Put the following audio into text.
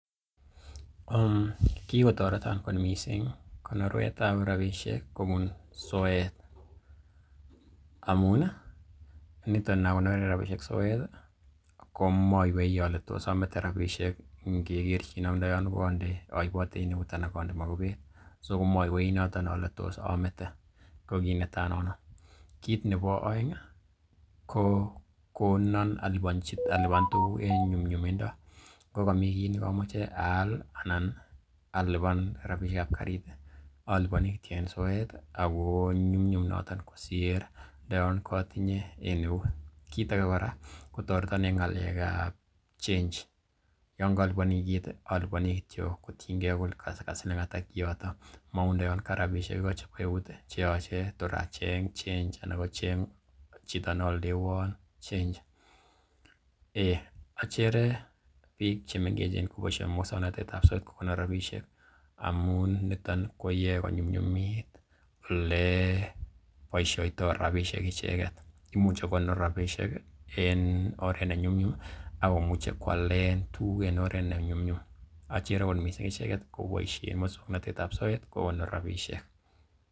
kigotoretin kot mising konorwet ab rabishek kobun soet. AMu niton inakonoren rabishek soet komaiywei ole tos amete rabishek ingekerchin ak ndo yon koibote en eut anan onde mogubet so komoywei noton ole tos omete ko kiit netai nono. Kiit nebo oeng ko konon alipan tuguk en nyumnyumindo ngo komi kiy nekomoche aal ana alipan rabishek ab karit oliponi kityo en soet ago nyumnyum noto kosir ndo yon kotinye en eut. Kiit age kora kotoreton en ng'alekab change yon kolipani kiit oliboni kityo kotienge kole kasiling ata kiioto, mou ndo yon karabishek igo chebo eut che yoche tor acheng change anan kocheng chito ne aldewon change . Eiy achere biik che mengechen koboisie muswagnatet ab soeet kokonor rabishek amun niton koyae konyunyumit ole boisioto rabishek icheget. Imuche kokonor rabishek en oret nenyumnyum ak komuche koalen tuguk en oret ne nyumnyum. Achere kot mising ichek koboisien muswagnatet ab soeet kokonor rabishek.